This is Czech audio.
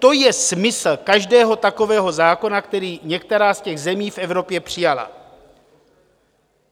To je smysl každého takového zákona, který některá z těch zemí v Evropě přijala.